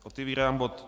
Otevírám bod